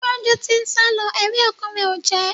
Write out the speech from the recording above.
Gbọ́njú ti ń sálọ, ẹ̀rí ọkàn rẹ̀ ò jẹ́